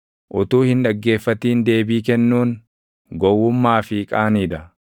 Utuu hin dhaggeeffatin deebii kennuun, gowwummaa fi qaanii dha.